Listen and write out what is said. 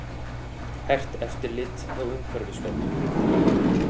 Hert eftirlit hjá Umhverfisstofnun